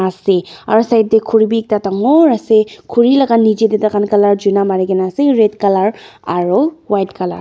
asey aro side deh khuri bi ekta dangooor asey khuri laga nichey deh taikha kalar chuna marigina asey red colour aro white colour .